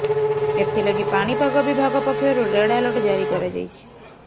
ଏଥିଲାଗି ପାଣିପାଗ ବିଭାଗ ପକ୍ଷରୁ ରେଡ୍ ଆଲର୍ଟ ଜାରି କରାଯାଇଛି